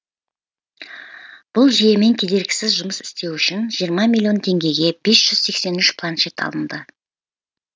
бұл жүйемен кедергісіз жұмыс істеу үшін жиырма миллион теңгеге бес жүз сексен үш планшет алынды